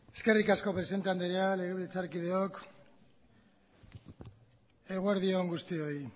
eskerrik asko presidente andrea legebiltzarkideok eguerdi on guztioi